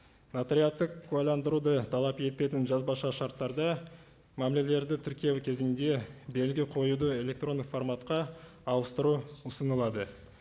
нотариаттық куәләндіруды талап етпейтін жазбаша шарттарды мәмілелерді тіркеу кезінде белгі қоюды электрондық форматқа ауыстыру ұсынылады